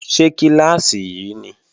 Ṣé kíláàsì yí ni?